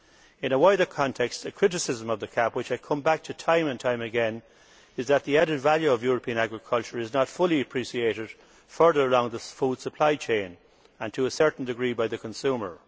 In a wider context, a criticism of the CAP which I come back to time and time again is that the added value of European agriculture is not fully appreciated further along the food supply chain and to a certain degree by the consumer.